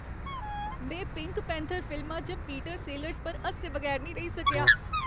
में pink panther फिल्मा च पीटर सेलर्स पर हस्से बगैर नेईं रेही सकेआ।